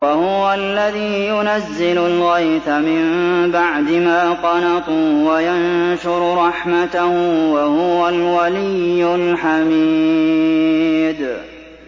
وَهُوَ الَّذِي يُنَزِّلُ الْغَيْثَ مِن بَعْدِ مَا قَنَطُوا وَيَنشُرُ رَحْمَتَهُ ۚ وَهُوَ الْوَلِيُّ الْحَمِيدُ